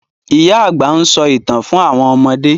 Ìyá àgbà nso ìtàn fún àwọn ọmọdé.